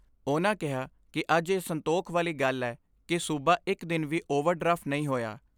ਉਨ੍ਹਾਂ ਕਿਹਾ ਕਿ ਅੱਜ ਇਹ ਸੰਤੋਖ ਵਾਲੀ ਗੱਲ ਐ ਕਿ ਸੂਬਾ ਇਕ ਦਿਨ ਵੀ ਓਵਰ ਡਰਾਫਟ ਨਹੀਂ ਹੋਇਆ।